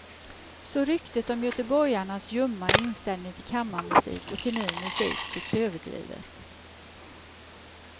Så ryktet om göteborgarnas ljumma inställning till kammarmusik och till ny musik, tycks överdrivet.